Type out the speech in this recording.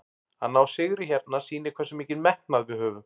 Að ná sigri hérna sýnir hversu mikinn metnað við höfum.